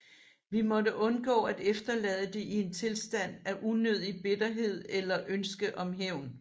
Vi måtte undgå at efterlade det i en tilstand af unødig bitterhed eller ønske om hævn